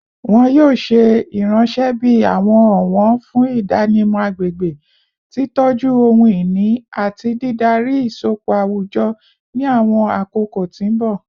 Wọn yoo ṣe iranṣẹ bi awọn ọwọn fun idanimọ agbegbe, titọju ohun-ini, ati didari isọpọ awujọ ni awọn akoko ti mbọ